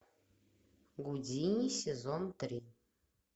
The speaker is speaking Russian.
гудини сезон три